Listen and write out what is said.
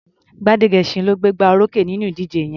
Gbádégẹṣin ló gbégbá orókè nínú ìdíje yẹn.